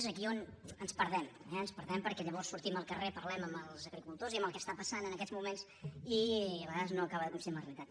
és aquí on ens perdem eh ens perdem perquè llavors sortim al carrer parlem amb els agricultors i amb el que està passant en aquests moments i a vegades no acaba de coincidir amb la realitat